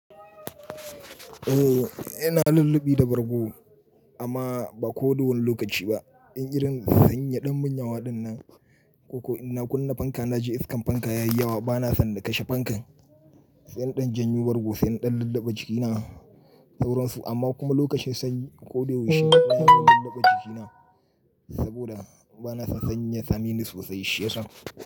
Ooo ina lullubi da bargo amma ba ko da wani lokaci ba. In irin sanyi yaɗan munyawa dinnan koko inna kunna fanka naji iskan fanka yayi yawa bana son na kashe fankan. Sai na ɗan janyo bargo, saina ɗan lullaba jikina sauransu amma kuma lokacin sanyi ko da yaushe ina yin lullaba jikina saboda bana son sanyi yasameni sosai shiya sa.